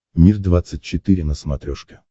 мир двадцать четыре на смотрешке